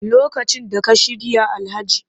Lokacin da ka shirya Alhaji